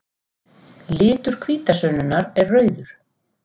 Litur hvítasunnunnar er rauður.